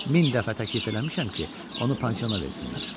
Min dəfə təklif eləmişəm ki, onu pansiona versinlər.